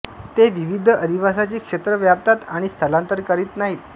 ते विविध अधिवासांचे क्षेत्र व्यापतात आणि स्थलांतर करीत नाहीत